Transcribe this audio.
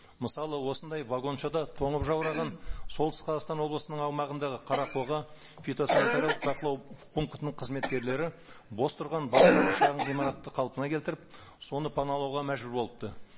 мысалы осындай вагоншада тонып жаураған солтүстік қазақстан облысының аумағындағы қарақоға фитосанитариялық бақылау пунктінің қызметкерлері бос тұрған басқа бір шағын ғимаратты қалпына келтіріп соны паналауға мәжбүр болыпты